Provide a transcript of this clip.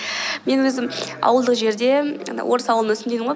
мен өзім ауылдық жерде енді орыс ауылында өстім дедім ғой